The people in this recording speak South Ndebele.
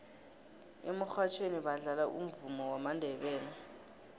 emurhatjhweni badlala umvumo wamandebele